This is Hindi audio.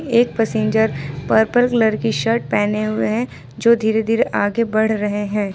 एक पैसेंजर पर्पल कलर की शर्ट पहने हुए हैं जो धीरे धीरे आगे बढ़ रहे हैं।